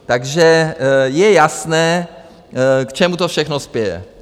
Takže je jasné, k čemu to všechno spěje.